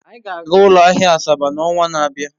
Anyị ga-aga ụlọ ahịa Asaba n'ọnwa na-abịa.